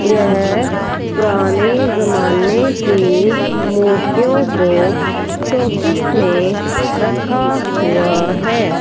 यह पुराने जमाने की मूर्तियों को शोकेश में रखा हुआ है।